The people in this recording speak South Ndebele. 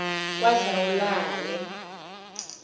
kwadlawulale